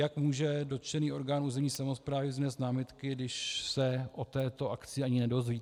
Jak může dotčený orgán územní samosprávy vznést námitky, když se o této akci ani nedozví?